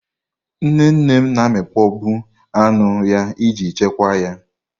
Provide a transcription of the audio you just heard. Nnenne m na amịkpọ bụ anụ ya iji chekwa ya.